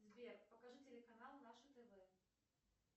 сбер покажи телеканал наше тв